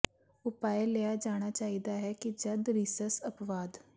ਉਪਾਅ ਲਿਆ ਜਾਣਾ ਚਾਹੀਦਾ ਹੈ ਕਿ ਜਦ ਰੀਸਸ ਅਪਵਾਦ